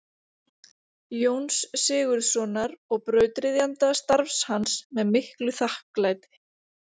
Jóns Sigurðssonar og brautryðjanda starfs hans með miklu þakklæti.